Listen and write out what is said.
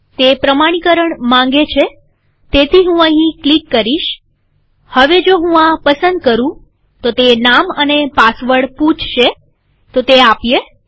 તે પ્રમાણીકરણ માંગે છેતેથી હું અહીં ક્લિક કરીશહવે જો હું આ પસંદ કરુંતે નામ અને પાસવર્ડ પૂછશેતે આપીએ